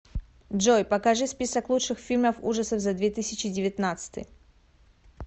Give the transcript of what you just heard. джой покажи список лучших фильмов ужасов за две тысячи девятнадцатый